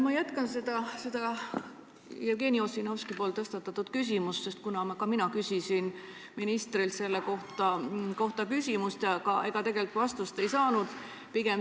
Ma jätkan Jevgeni Ossinovski tõstatatud teemat, sest ka mina küsisin ministrilt selle kohta küsimuse, aga tegelikult vastust ei saanud.